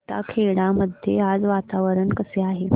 जैताखेडा मध्ये आज वातावरण कसे आहे